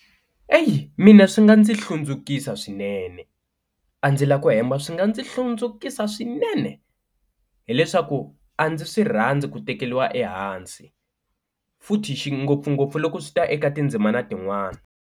Eyi mina swi nga ndzi hlundzukisa swinene a ndzi lavi ku hemba swi nga ndzi hlundzukile swinene, hileswaku a ndzi swi rhandzi ku tekeriwa ehansi futhi xingopfungopfu loko swi ta eka tindzimana tin'wani.